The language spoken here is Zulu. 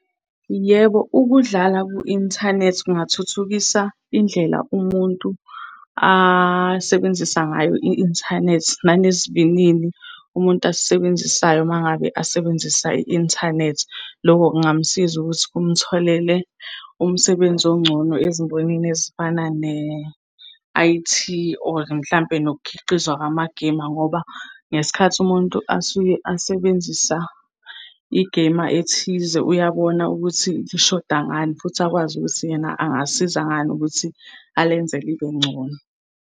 Yebo, ukudlala ku-inthanethi kungathuthukisa indlela umuntu asebenzisa ngayo i-inthanethi, nanesivinini umuntu asisebenzisayo uma ngabe asebenzisa i-inthanethi. Loko kungamsiza ukuthi kumtholele umsebenzi ongcono ezimbonini ezifana ne-I_T, or mhlampe nokukhiqizwa kwamagemu. Ngoba ngesikhathi umuntu asuke asebenzisa igema ethize uyabona ukuthi sishoda ngani, futhi akwazi ukuthi yena angasiza ngani ukuthi alenze libe ngcono.